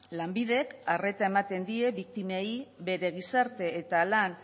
lanbidek arreta ematen die biktimei bere gizarte eta lan